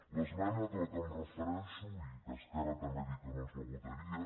l’esmena a què em refereixo i que esquerra també ha dit que no ens la votaria